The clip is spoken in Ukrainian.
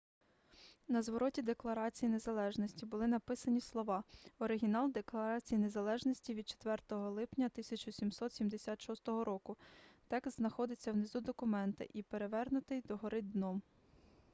на звороті декларації незалежності були написані слова оригінал декларації незалежності від 4 липня 1776 року текст знаходиться внизу документа і перевернутий догори дном